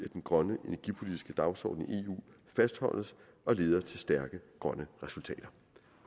den grønne energipolitiske dagsorden i eu fastholdes og leder til stærke grønne resultater